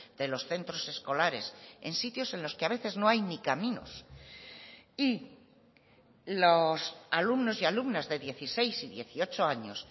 de los centros escolares en sitios en los que a veces no hay ni caminos y los alumnos y alumnas de dieciséis y dieciocho años